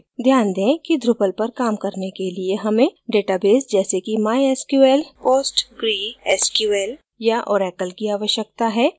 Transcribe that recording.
ध्यान दें कि drupal पर काम करने के लिए हमें database जैसे कि mysql postgresql या oracle की आवश्यकता है